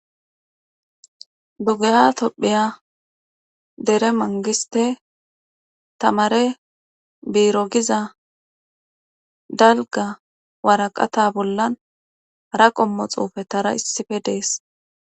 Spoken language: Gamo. dugeya topphiya dere mangiste tamare biiro giza dalga waraqata bollan ara qommo xuufe tara issife dees